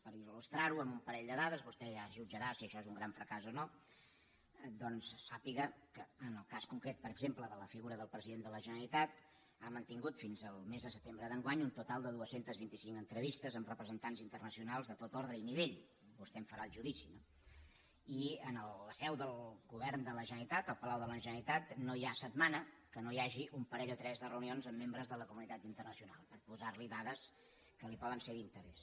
per il·lustrar ho amb un parell de dades vostè ja jutjarà si això és un gran fracàs o no doncs sàpiga que en el cas concret per exemple de la figura del president de la generalitat ha mantingut fins al mes de setembre d’enguany un total de dos cents i vint cinc entrevistes amb representants internacionals de tot ordre i nivell vostè en farà el judici no i en la seu del govern de la generalitat al palau de la generalitat no hi ha setmana que no hi hagi un parell o tres de reunions amb membres de la comunitat internacional per posar li dades que li poden ser d’interès